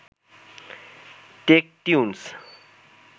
Techtunes